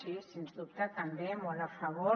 sí sens dubte també molt a favor